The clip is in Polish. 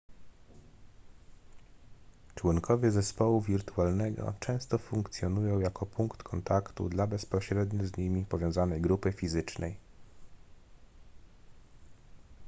członkowie zespołu wirtualnego często funkcjonują jako punkt kontaktu dla bezpośrednio z nimi powiązanej grupy fizycznej